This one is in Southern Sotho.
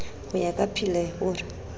ho ya ka pilir o